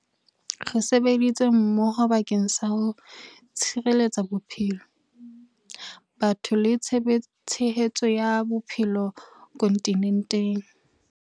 Re sebeditse mmoho bakeng sa ho tshireletsa bophelo, batho le tshehetso ya bophelo kontinenteng.